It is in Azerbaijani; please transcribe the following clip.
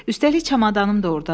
Üstəlik çamadanım da ordadır.